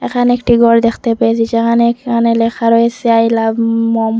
এখানে একটি গর দেখতে পেয়েছি যেখানে এখানে লেখা রয়েসে আই লাভ মম ।